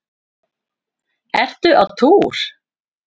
Ertu á túr?